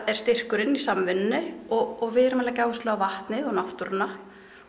er styrkurinn í samvinnunni og við erum að leggja áherslu á vatnið og náttúruna